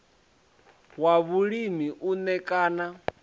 wa vhulimi u ṋ ekana